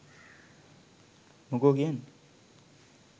මොකෝ කියන්නේ?